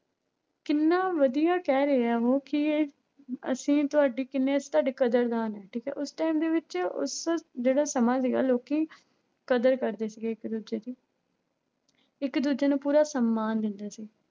ਕਿੰਨਾ ਵਧੀਆ ਕਹਿ ਰਿਹਾ ਉਹ ਕਿ ਇਹ ਅਸੀਂ ਤੁਹਾਡੀ ਕਿੰਨੇ ਤੁਹਾਡੇ ਕਦਰਦਾਨ ਹੈ ਠੀਕ ਹੈ ਉਸ time ਦੇ ਵਿੱਚ ਉਸ ਜਿਹੜਾ ਸਮਾਂ ਸੀਗਾ ਲੋਕੀ ਕਦਰ ਕਰਦੇ ਸੀਗੇ ਇੱਕ ਦੂਜੇ ਦੀ ਇੱਕ ਦੂਜੇ ਨੂੰ ਪੂਰਾ ਸਮਾਨ ਦਿੰਦੇ ਸੀ।